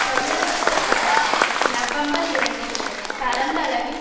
கையெழுத்திட்ட பலர் நவம்பர் இரண்டில் பரந்தளவில்